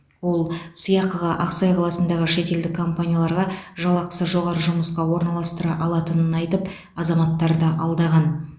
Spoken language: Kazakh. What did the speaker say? ол сыйақыға ақсай қаласындағы шетелдік компанияларға жалақысы жоғары жұмысқа орналастыра алатынын айтып азаматтарды алдаған